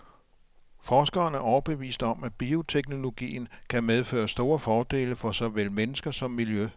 Forskeren er overbevist om, at bioteknologien kan medføre store fordele for såvel mennesker som miljø.